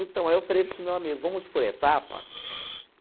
Então, aí eu falei para esse meu amigo, vamos por etapa?